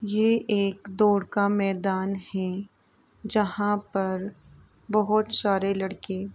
यह एक दौड़ का मैदान है जहाँंँ पर बहुत सारे लड़के --